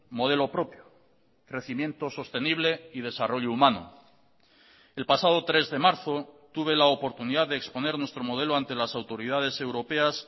modelo propio crecimiento sostenible y desarrollo humano el pasado tres de marzo tuve la oportunidad de exponer nuestro modelo ante las autoridades europeas